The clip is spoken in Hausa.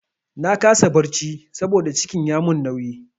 Na kasa barci saboda cikin ya mun nauyi.